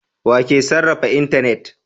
Wa ke sarrafa intanet?